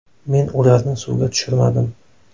Men ularni suvga tushirmadim.